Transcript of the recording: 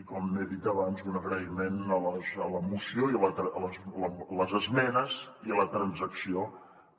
i com he dit abans un agraïment per les esmenes i la transacció